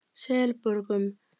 Selborgum